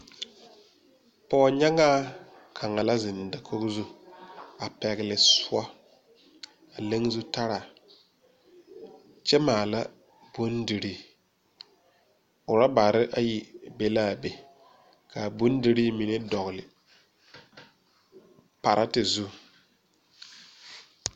Pɔgenyɛŋaa ka la zeŋ da Kogi zu a pegle soɔ a leŋ zu tara kyɛ maala boŋdire ,rubber ayi be la a be ka a bondire mine dɔgle kpaareti zu.